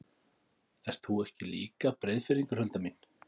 Ert þú ekki líka Breiðfirðingur, Hulda mín?